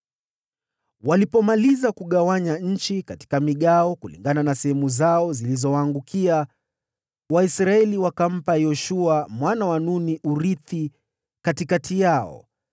Walipomaliza kugawanya nchi katika migawo kulingana na sehemu zao zilizowaangukia, Waisraeli wakampa Yoshua mwana wa Nuni urithi katikati yao,